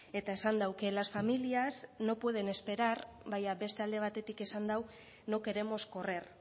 eta esan du que las familias no pueden esperar baina beste alde batetik esan du no queremos correr